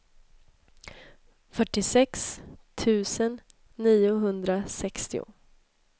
fyrtiosex tusen niohundrasextio